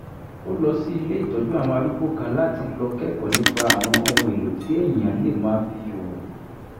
ó lọ sí ilé ìtọ́jú àwọn arúgbó kan láti lọ kẹ́kọ̀ọ́ nípa àwọn ohun-èlò tí èèyàn lè máa fi ṣòwò